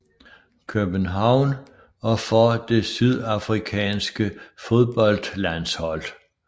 København og for det sydafrikanske fodboldlandshold